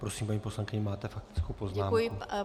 Prosím, paní poslankyně, máte faktickou poznámku.